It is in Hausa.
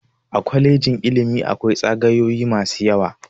A kwalejin ilimi akwai tsagayoyi masu yawa.